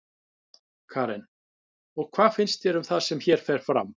Karen: Og hvað finnst þér um það sem hér fer fram?